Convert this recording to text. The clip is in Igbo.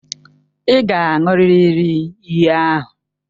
Ị ga-aṅụrịrị iyi ahụ!